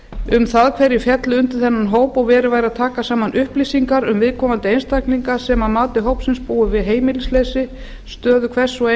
um það hverjir féllu undir þennan hóp og verið væri að taka saman upplýsingar um viðkomandi einstaklinga sem að mati hópsins búa við heimilisleysi stöðu hvers og